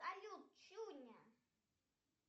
салют чуня